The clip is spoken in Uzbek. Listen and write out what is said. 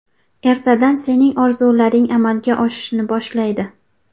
Ertadan sening orzularing amalga oshishni boshlaydi.